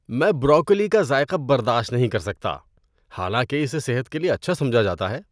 میں بروکولی کا ذائقہ برداشت نہیں کر سکتا حالانکہ اسے صحت کے لیے اچھا سمجھا جاتا ہے۔